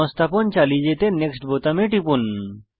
সংস্থাপন চালিয়ে যেতে নেক্সট বোতামে টিপুন